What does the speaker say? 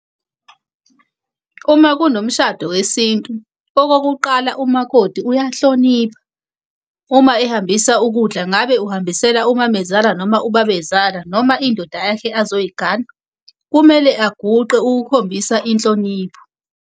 Uma kunomshado wesintu okokuqala umakoti uyahlonipha, uma ehambisa ukudla. Ngabe uhambisela umamezala noma ubabezala noma indoda yakhe azoyi gana, kumele aguqe ukukhombisa inhlonipho.